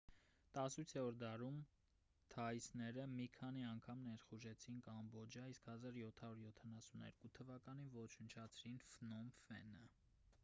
18-րդ դարում թաիսները մի քանի անգամ ներխուժեցին կամբոջիա իսկ 1772 թվականին ոչնչացրին ֆնոմ ֆենը